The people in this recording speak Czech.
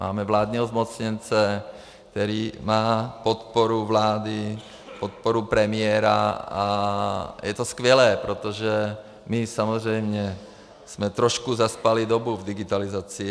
Máme vládního zmocněnce, který má podporu vlády, podporu premiéra, a je to skvělé, protože my samozřejmě jsme trošku zaspali dobu v digitalizaci.